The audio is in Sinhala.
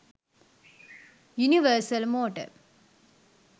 universal motor